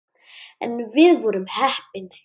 En við vorum heppin.